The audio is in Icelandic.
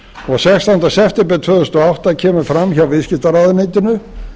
og sextánda september tvö þúsund og átta kemur fram hjá viðskiptaráðuneytinu